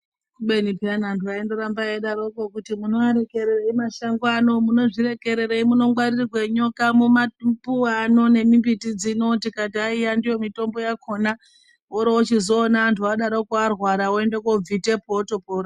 Kubeni peyana antu aindoramba eidaroko kuti "munoarekererei mashango ano, munozvirekererei munongwarirwa nyoka mumapuwe ano nemimbiti dzino" tikaiti aiwa ndiyo mitombo yakona worochizoona antu adaroko arwara voende kobvitepo otopora.